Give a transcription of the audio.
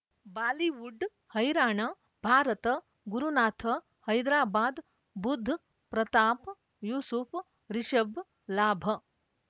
Bollywood ಹೈರಾಣ ಭಾರತ ಗುರುನಾಥ ಹೈದರಾಬಾದ್ ಬುಧ್ ಪ್ರತಾಪ್ ಯೂಸುಫ್ ರಿಷಬ್ ಲಾಭ